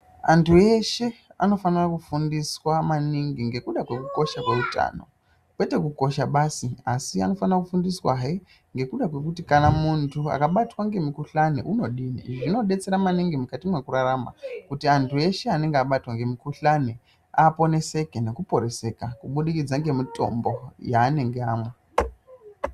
Antu eshe anofanira kufundiswa maningi ngekuda kwekukosha kweutano kwete kukosha basi asi anofanira kufundiswahe ngekuda kwekuti kana muntu akabatwa ngemukhuhlani unodini. Izvi zvinodetsera maningi mukati mwekurarama kuti antu eshe anenge abatwa ngemukhuhlani aponeseke nekuporeseka kubudikidza ngemitombo yanenge amwa.